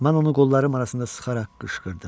Mən onu qollarım arasında sıxaraq qışqırdım.